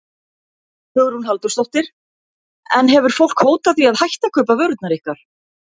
Hugrún Halldórsdóttir: En hefur fólk hótað því að hætta að kaupa vörurnar ykkar?